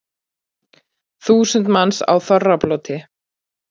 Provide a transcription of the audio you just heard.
Þúsund manns á þorrablóti